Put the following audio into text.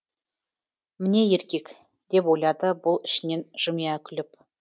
міне еркек деп ойлады бұл ішінен жымия күліп